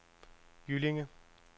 Jyllinge